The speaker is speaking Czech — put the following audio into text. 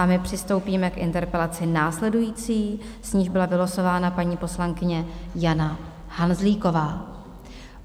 A my přistoupíme k interpelaci následující, s níž byla vylosována paní poslankyně Jana Hanzlíková.